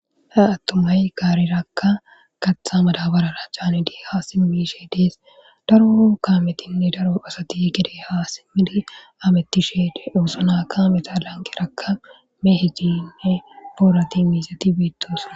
Ha attuma gaareraka kaththa madabarera canidi ha simmi yishe des. Daro kaametinne daro asati gede ha simidi hametishe de7oosona. kaameta lanqqerakka mehetinne boorati miizati beetosona.